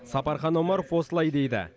сапархан омаров осылай дейді